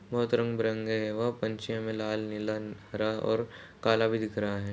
बहुत रंग बिरंगे हैं। वो पंछी में लाल नीला हरा और काला भी दिख रहा है।